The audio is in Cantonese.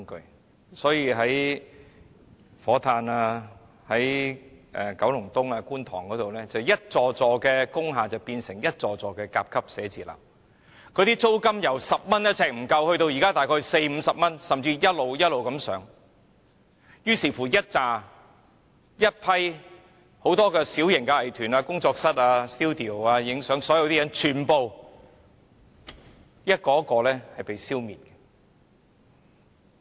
於是，那些位於火炭、九龍東、觀塘的工廠大廈，便變成一幢又一幢甲級寫字樓，租金由每呎不足10元上升至現時的約40元至50元，甚至會繼續一直上升，以致很多小型藝團、工作室、攝影 studio 被一一消滅。